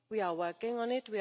we are working on